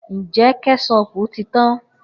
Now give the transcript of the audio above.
Njẹ kẹṣopu ti tan?